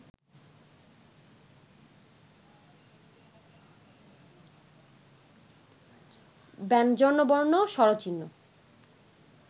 ব্যঞ্জনবর্ণ, স্বরচি‎হ্ন